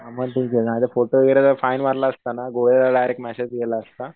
अरे फोटो वगैरे फाईन मारला असता ना गोळेला डायरेक्ट मॅसेज गेला असता.